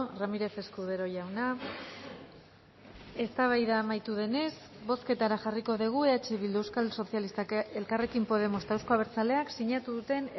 ramírez escudero jauna eztabaida amaitu denez bozketara jarriko dugu eh bildu euskal sozialistak elkarrekin podemos eta euzko abertzaleak sinatu duten